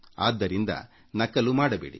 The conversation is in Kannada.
ಆದ್ದರಿಂದ ನಕಲು ಮಾಡಬೇಡಿ